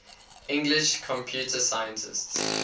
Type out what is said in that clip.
english computer scientists